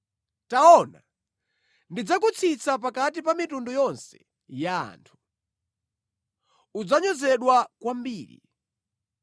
“Taona, ndidzakuchepetsani pakati pa anthu a mitundu ina; udzanyozedwa kwambiri.